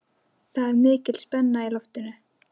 Það er mikil spenna í loftinu.